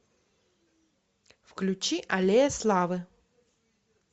включи аллея славы